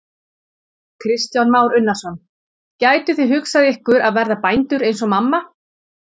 Kristján Már Unnarsson: Gætuð þið hugsað ykkur að verða bændur eins og mamma?